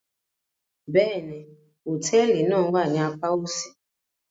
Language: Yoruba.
Bẹ́ẹ̀ni, hotẹẹli náa wa ni àpà osi